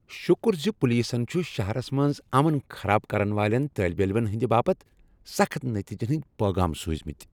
شکر زِ پولیسن چھ شہرس منٛز امن خراب کرن والین طٲلب علمن ہندِ باپت سخٕت نتیجن ہنٛدۍ پیغام سوزمِتۍ۔